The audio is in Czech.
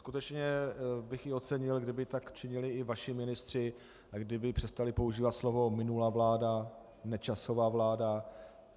Skutečně bych i ocenil, kdyby tak činili i vaši ministři a kdyby přestali používat slova "minulá vláda, Nečasova vláda".